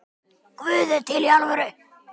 Það sama á við um aðra leikmenn?